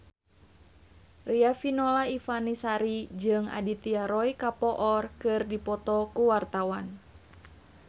Riafinola Ifani Sari jeung Aditya Roy Kapoor keur dipoto ku wartawan